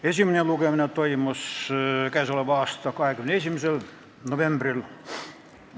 Esimene lugemine toimus 21. novembril.